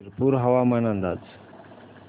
शिरपूर हवामान अंदाज